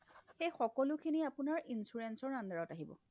সেই সকলোখিনি আপোনাৰ insurance ৰ underত আহিব